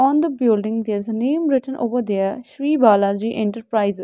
on the building there is a name written over there Shree Balaji Enterprises.